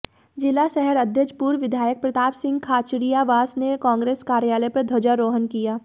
जिला शहर अध्यक्ष पूर्व विधायक प्रतापसिंह खाचरियावास ने कांग्रेस कार्यालय पर ध्वजारोहण किया